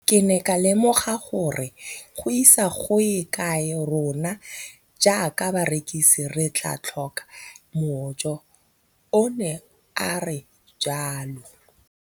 Ke ne ka lemoga gore go ise go ye kae rona jaaka barekise re tla tlhoka mojo, o ne a re jalo.